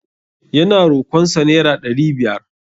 Ya na rokon sa naira ɗari biyar.